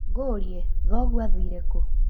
Ngũrie, thoguo athire kũ